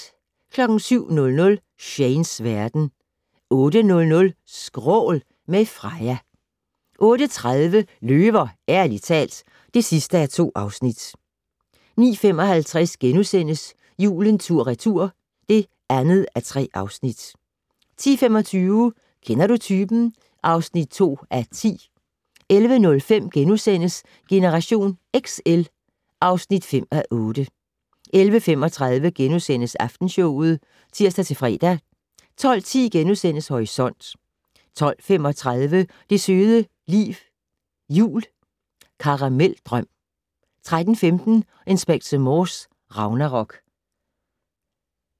07:00: Shanes verden 08:00: Skrål - med Freja 08:30: Løver - ærligt talt (2:2) 09:55: Julen tur/retur (2:3)* 10:25: Kender du typen? (2:10) 11:05: Generation XL (5:8)* 11:35: Aftenshowet *(tir-fre) 12:10: Horisont * 12:35: Det søde liv jul - Karameldrøm 13:15: Inspector Morse: Ragnarok